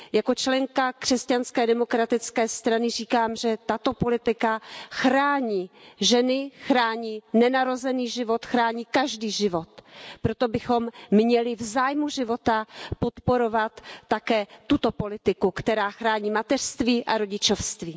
Jako členka Křesťanské demokratické strany říkám, že tato politika chrání ženy, chrání nenarozený život, chrání každý život, proto bychom měli v zájmu života podporovat také tuto politiku, která chrání mateřství a rodičovství.